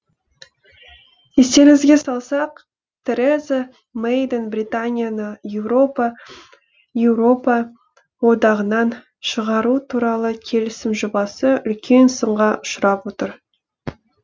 естеріңізге салсақ тереза мэйдің британияны еуропа одағынан шығару туралы келісім жобасы үлкен сынға ұшырап отыр